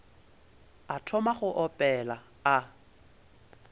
a thoma go opela a